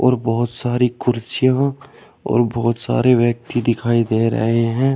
और बहोत सारी कुर्सियां और बहोत सारे व्यक्ति दिखाई दे रहे हैं।